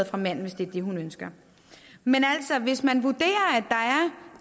fra manden hvis det er det hun ønsker men altså hvis man vurderer